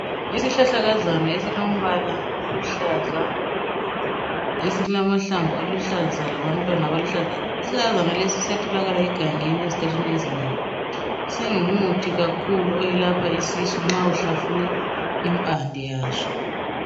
Isihlahlakazana esilombala oluhlaza esilamahlamvu aluhlaza labantwana abaluhlaza Isihlahlakazana lesi siyatholakala egangeni ezikhathini ezinengi singumuthi kakhulu oyelapha isisu nxa uhlafuna impande yaso .